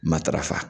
Matarafa